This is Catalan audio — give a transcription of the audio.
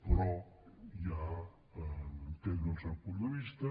però ja en·tenc el seu punt de vista